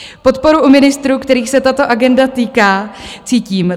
Podporu u ministrů, kterých se tato agenda týká, cítím.